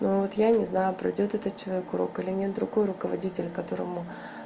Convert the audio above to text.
но вот я не знаю проидёт этот человек урок или нет другой руководитель которому